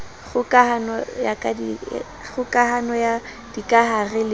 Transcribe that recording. kgoka hano ya dikahare le